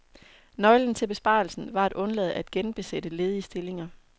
Nøglen til besparelsen var at undlade at genbesætte ledige stillinger.